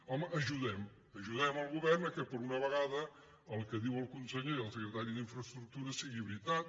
home ajudem ajudem el govern que per una vegada el que diuen el conseller i el secretari d’infraestructures sigui veritat